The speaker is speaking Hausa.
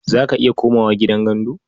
Za ka iya komawa gidan gandu?